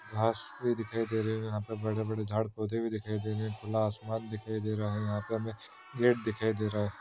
घास भी दिखाई रहे है यहा पर बडे - बडे झाड पौधे भी दिखाई दे रहे है खुला आसमान दिखाई दे रहा है यहाँ पे हमें गेट दिखाई दे रहा है।